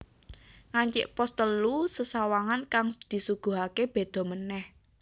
Ngancik pos telu sesawangan kang disuguhake beda manèh